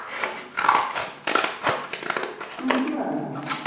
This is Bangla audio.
চুপ করে আছো কেন